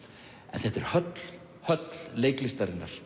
en þetta er höll höll leiklistarinnar